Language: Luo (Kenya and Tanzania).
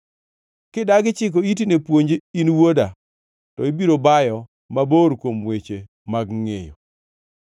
Kidagi chiko iti ne puonj in wuoda, to ibiro bayo mabor kuom weche mag ngʼeyo.